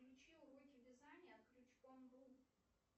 включи уроки вязания крючком